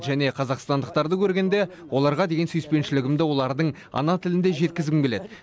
және қазақстандықтарды көргенде оларға деген сүйіспеншілігімді олардың ана тілінде жеткізгім келеді